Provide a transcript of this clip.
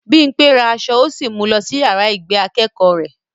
Bímpé ra aṣọ ó sì mu lọ sí yàrá ìgbé akẹ́kọ̀ọ́ rẹ̀